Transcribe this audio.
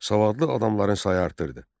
Savadlı adamların sayı artırdı.